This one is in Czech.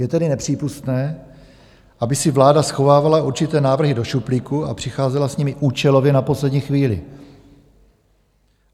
Je tedy nepřípustné, aby si vláda schovávala určité návrhy do šuplíku a přicházela s nimi účelově na poslední chvíli.